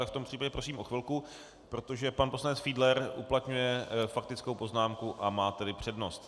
Tak v tom případě prosím o chvilku, protože pan poslanec Fiedler uplatňuje faktickou poznámku, a má tedy přednost.